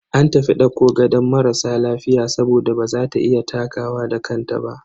An tafi dauko gadon marasa lafiya saboda baza ta iya takawa da kanta ba.